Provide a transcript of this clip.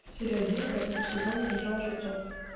серия один пятого сезона игра лжецов